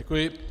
Děkuji.